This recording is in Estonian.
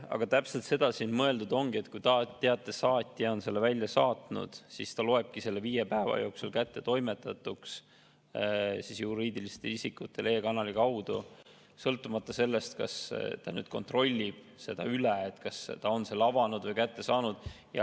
Aga täpselt seda siin mõeldud ongi, et kui saatja on teate e-kanali kaudu juriidilisele isikule välja saatnud, siis ta loeb selle viie päeva jooksul kättetoimetatuks, sõltumata sellest, kas ta kontrollib üle, kas isik on teate avanud või kätte saanud.